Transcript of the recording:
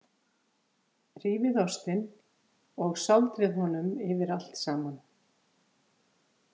Rífið ostinn og sáldrið honum yfir allt saman.